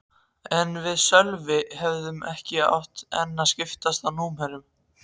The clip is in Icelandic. En við Sölvi höfðum ekki enn skipst á númerum.